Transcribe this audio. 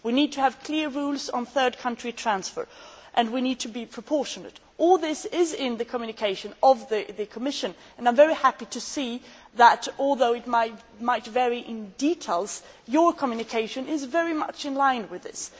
We need to have clear rules on third country transfer and we need to be proportionate. All this is in the communication from the Commission and I am very happy to see that, although the details might vary, your communication is very much in line with this.